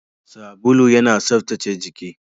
Sabulu yana tsaftace jiki.